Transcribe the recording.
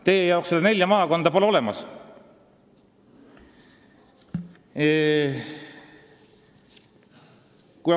Teie arvates pole neid nelja maakonda olemaski.